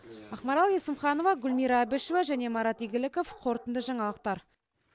ақмарал есімханова гүлмира әбішева және марат игіліков қорытынды жаңалықтар